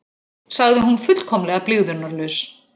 sagði hún fullkomlega blygðunarlaus.